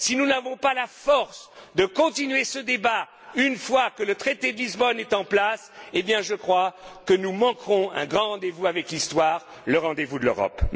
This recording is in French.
de Lisbonne. Si nous n'avons pas la force de continuer ce débat une fois le traité de Lisbonne en place, je crois que nous manquerons un grand rendez vous avec l'histoire, le rendez vous de l'Europe.